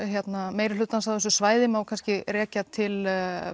meiri hlutans á þessu svæði má kannski rekja til